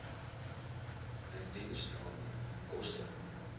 indiensname koste